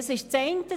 Das ist das eine.